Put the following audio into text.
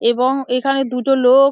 এবং এখানে দুটো লোক --